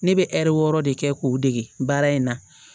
Ne bɛ ɛri wɔɔrɔ de kɛ k'o dege baara in na